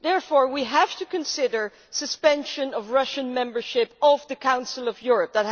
Therefore we have to consider suspension of Russian membership of the Council of Europe.